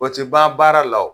O te ban baara la o.